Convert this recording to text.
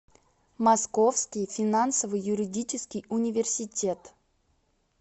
московский финансово юридический университет